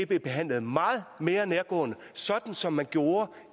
blev behandlet meget mere nærgående sådan som man gjorde